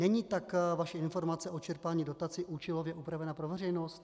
Není tak vaše informace o čerpání dotace účelově upravená pro veřejnost?